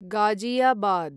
Ghaziabad